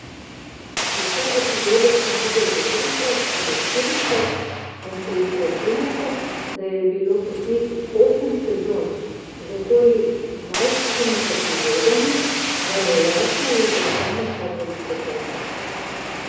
Vse epizode sem videl že trikrat ali štirikrat in če izračunate, da je bilo posnetih osem sezon z okoli dvajsetimi epizodami, vam je jasno, da to vzame kar veliko časa.